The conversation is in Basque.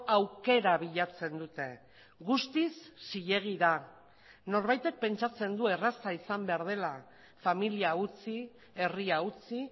aukera bilatzen dute guztiz zilegi da norbaitek pentsatzen du erraza izan behar dela familia utzi herria utzi